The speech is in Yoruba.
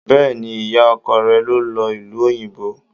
Bẹ́ẹ̀ni, ìyá ọkọ rẹ̀ ló lọ ìlú òyìnbó.